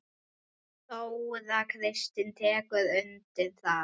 Þóra Kristín tekur undir það.